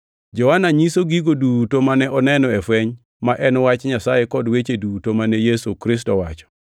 Johana nyiso gigo duto mane oneno e fweny ma en wach Nyasaye kod weche duto mane Yesu Kristo owacho.